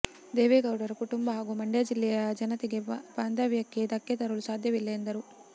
ದೇವೇಗೌಡರ ಕುಟುಂಬ ಹಾಗೂ ಮಂಡ್ಯ ಜಿಲ್ಲೆಯ ಜನತೆಯ ಬಾಂಧವ್ಯಕ್ಕೆ ಧಕ್ಕೆ ತರಲು ಸಾಧ್ಯವಿಲ್ಲ ಎಂದರು